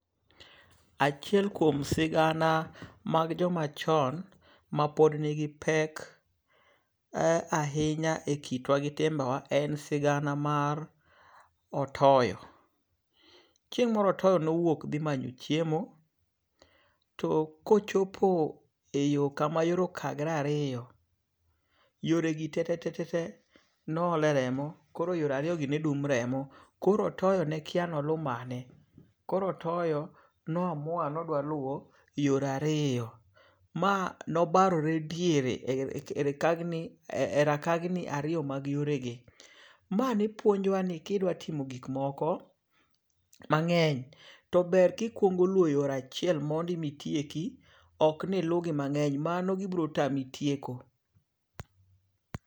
Achiel kuom sigana mag joma chon ma pod nigi pek ahinya e kitwa gi tembe wa en sigan mar otoyo. Chieng' moro otoyo nowuok dhi manyo chiemo. To kochopo e yo kama yore okagore ariyo, yore gi tetete no ole remo kore yore ariyo gi ne dum remo. Koro otoyo nekia ni olu mane. Koro otoyo no amua ni odwa luwo yore ariyo. Ma nobarore diere e rakagni ariyo mag yore gi. Ma ne puonjo wa ni kidwa timo gikmoko mang'eny, to ber ki kuongo luwo yor achiel mondi mitieki ok ni ilu gi mang'eny mani gibiro tami tieko.